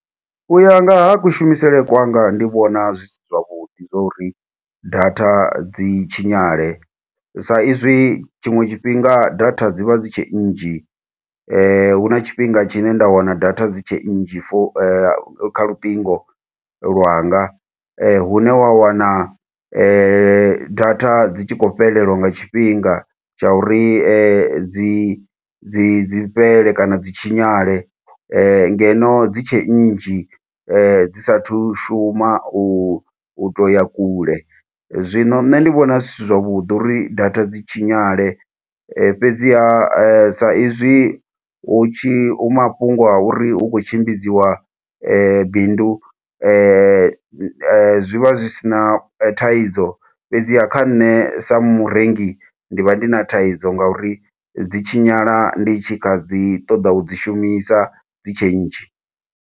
U ya nga ha kushumisele kwanga ndi vhona zwi si zwavhuḓi zwa uri data dzi tshinyale. Sa izwi tshiṅwe tshifhinga data dzi vha dzi tshe nnzhi, hu na tshifhinga tshine nda wana data dzi tshe nnzhi fo kha lutingo lwanga. Hune wa wana data dzi tshi khou fhelelwa nga tshifhinga, tsha uri dzi dzi dzi fhele kana dzi tshinyale. Ngeno, dzi tshe nnzhi dzi sathu shuma u u to ya kule. Zwino nṋe ndi vhona zwi si zwavhuḓi uri data dzi tshinyale, fhedziha sa izwi hu tshi hu mafhungo a uri hu khou tshimbidziwa bindu zwi vha zwi si na thaidzo. Fhedziha kha nṋe sa murengi, ndi vha ndi na thaidzo ngauri dzi tshinyala ndi tshi kha ḓi ṱoḓa u dzi shumisa dzi tshe nnzhi.